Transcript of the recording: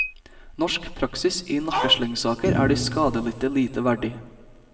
Norsk praksis i nakkeslengsaker er de skadelidte lite verdig.